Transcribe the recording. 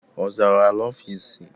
Ọ zara ala ofisi?